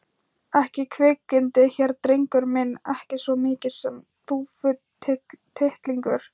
ekki kvikindi hér drengur minn, ekki svo mikið sem þúfutittlingur.